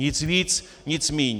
Nic víc, nic míň.